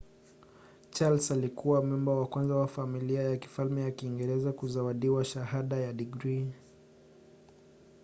charles alikuwa memba wa kwanza wa familia ya kifalme ya kiingereza kuzawadiwa shahada ya digrii